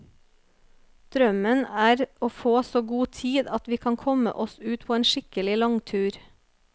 Drømmen er å få så god tid at vi kan komme oss ut på en skikkelig langtur.